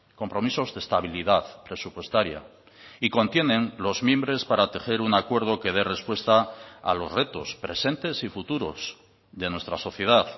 compromisos de estabilidad presupuestaria y contienen los mimbres para tejer un acuerdo que dé respuesta a los retos presentes y futuros de nuestra sociedad